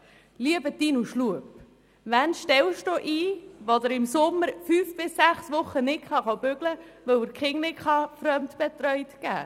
Lieber Martin Schlup, wen stellen Sie ein, wenn jemand im Sommer fünf bis sechs Wochen nicht arbeiten kann, weil die Kinder nicht fremdbetreut werden können?